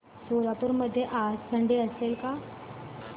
सोलापूर मध्ये आज थंडी असेल का